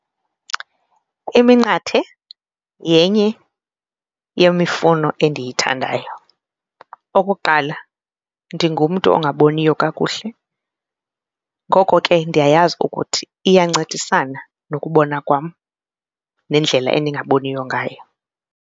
Iminqathe yenye yemifuno endiyithandayo. Okokuqala, ndingumntu ongaboniyo kakuhle ngoko ke ndiyayazi ukuthi iyancedisana nokubona kwam nendlela endingaboniyo ngayo.